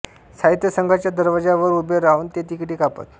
साहित्य संघाच्या दरवाज्यावर उभे राहून ते तिकिटे कापत